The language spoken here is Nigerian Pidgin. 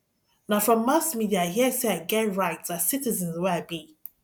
na from mass media i hear sey i get right as citizen wey i be